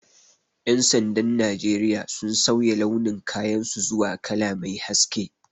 Ƴan sandan Najeriya sun sauya launin kayan su zuwa kala mai haske